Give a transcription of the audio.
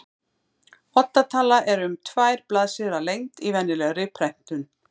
Odda tala er um tvær blaðsíður að lengd í venjulegri prentun.